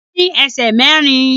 Kìnnìún ní ẹsẹ̀ mẹ́rin